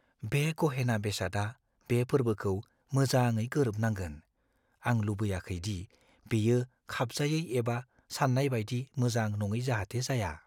बे गहेना बेसादआ बे फोर्बोखौ मोजाङै गोरोबनांगोन। आं लुबैयाखै दि बेयो खाबजायै एबा साननाय बायदि मोजां नङै जाहाते जाया।